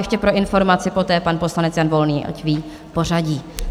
Ještě pro informaci, poté pan poslanec Jan Volný, ať ví pořadí.